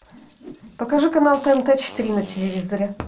покажи канал тнт четыре на телевизоре